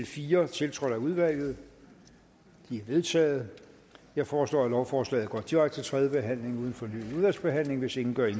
fire tiltrådt af udvalget de er vedtaget jeg foreslår at lovforslaget går direkte til tredje behandling uden fornyet udvalgsbehandling hvis ingen gør